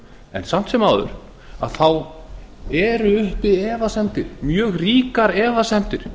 en samt sem áður eru uppi mjög ríkar efasemdir